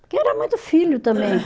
Porque era muito filho também.